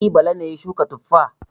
E, Bala ne ya shuka tuffa.